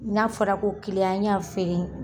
N'a fɔra ko y'a feere